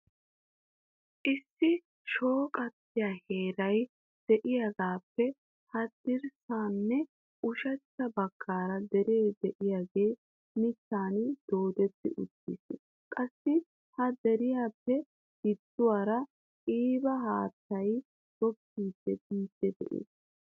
Issi shooqatiyaa heeray de'iyaagappe haddirsaanne ushshachcha baggaara dere de'iyaagee mittan doodeti uttiis. Qassi ha deriyaappe gidduwaara qiiba haattay googgidi biidi de'ees.